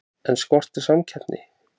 En skortir samkeppni?